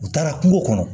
U taara kungo kɔnɔ